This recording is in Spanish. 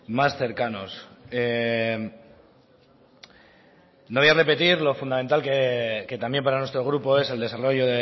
más cercanos no voy a repetir lo fundamental que también para nuestro grupo es el desarrollo